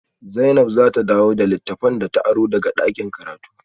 Zainab za ta dawo da littafan da ta aro daga dakin karatu